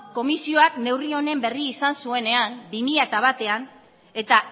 komisioak neurri honen berri izan zuenean bi mila batean eta